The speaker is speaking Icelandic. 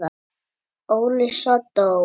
Óli sódó!